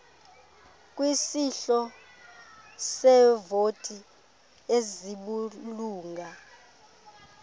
kwisihlo seevoti ezibulunga